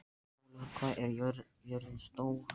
Fjólar, hvað er jörðin stór?